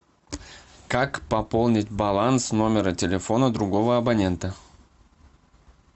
как пополнить баланс номера телефона другого абонента